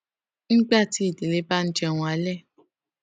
nígbà tí ìdílé bá ń jẹun alé